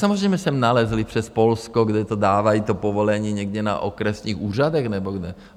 Samozřejmě sem nalezli přes Polsko, kde to dávají, to povolení, někde na okresních úřadech nebo kde.